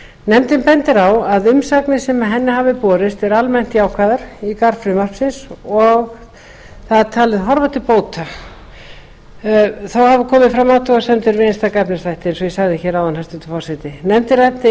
nefndin bendir á að umsagnir sem henni hafa borist eru almennt jákvæðar í garð frumvarpsins og það talið horfa til bóta þó hafa komið fram athugasemdir við einstaka efnisþætti eins og ég sagði hér áðan hæstvirtur forseti nefndin ræddi